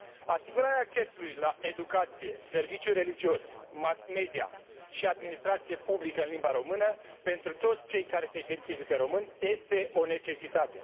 Asigurarea accesului la educație, serviciu religios, mass media și administrație publică în limba română pentru toți cei care se identifică români este o necesitate.